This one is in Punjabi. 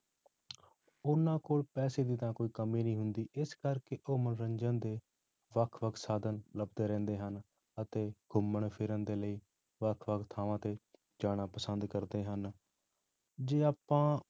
ਉਹਨਾਂ ਕੋਲ ਪੈਸੇ ਦੀ ਤਾਂ ਕੋਈ ਕਮੀ ਨਹੀਂ ਹੁੰਦੀ, ਇਸ ਕਰਕੇ ਉਹ ਮਨੋਰੰਜਨ ਦੇ ਵੱਖ ਵੱਖ ਸਾਧਨ ਲੱਭਦੇ ਰਹਿੰਦੇ ਹਨ ਅਤੇ ਘੁੰਮਣ ਫਿਰਨ ਦੇ ਲਈ ਵੱਖ ਵੱਖ ਥਾਵਾਂ ਤੇ ਜਾਣਾ ਪਸੰਦ ਕਰਦੇ ਹਨ, ਜੇ ਆਪਾਂ